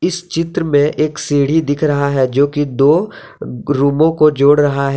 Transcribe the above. इस चित्र में एक सीढ़ी दिख रहा है जोकि दो रूमों को जोड़ रहा है।